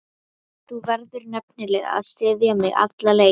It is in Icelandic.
Þú verður nefnilega að styðja mig alla leið.